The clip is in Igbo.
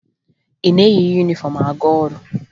Ị na-eyi yunifọmụ aga ọrụ?